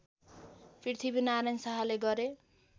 पृथ्वीनारायण शाहले गरे